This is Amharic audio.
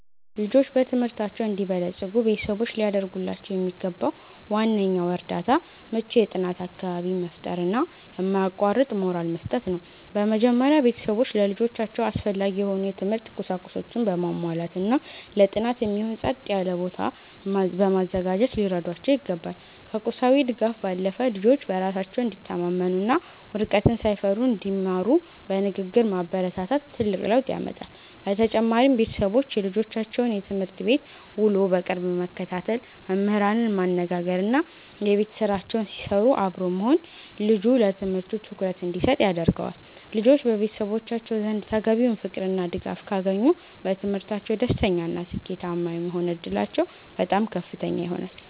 ልጆች በትምህርታቸው እንዲበለጽጉ ቤተሰቦች ሊያደርጉላቸው የሚገባው ዋነኛው እርዳታ ምቹ የጥናት አካባቢን መፍጠርና የማያቋርጥ ሞራል መስጠት ነው። በመጀመሪያ፣ ቤተሰቦች ለልጆቻቸው አስፈላጊ የሆኑ የትምህርት ቁሳቁሶችን በማሟላትና ለጥናት የሚሆን ጸጥ ያለ ቦታ በማዘጋጀት ሊረዷቸው ይገባል። ከቁሳዊ ድጋፍ ባለፈ፣ ልጆች በራሳቸው እንዲተማመኑና ውድቀትን ሳይፈሩ እንዲማሩ በንግግር ማበረታታት ትልቅ ለውጥ ያመጣል። በተጨማሪም፣ ቤተሰቦች የልጆቻቸውን የትምህርት ቤት ውሎ በቅርብ መከታተል፣ መምህራንን ማነጋገርና የቤት ስራቸውን ሲሰሩ አብሮ መሆን ልጁ ለትምህርቱ ትኩረት እንዲሰጥ ያደርገዋል። ልጆች በቤተሰቦቻቸው ዘንድ ተገቢውን ፍቅርና ድጋፍ ካገኙ፣ በትምህርታቸው ደስተኛና ስኬታማ የመሆን ዕድላቸው በጣም ከፍተኛ ይሆናል።